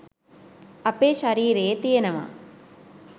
අපේ ශරීරයේ තියෙනවා